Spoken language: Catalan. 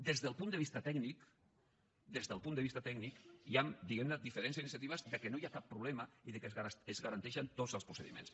des del punt de vista tècnic des del punt de vista tècnic hi han diguem ne diferents iniciatives que no hi ha cap problema i que es garanteixen tots els procediments